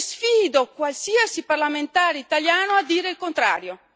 E sfido qualsiasi parlamentare italiano a dire il contrario.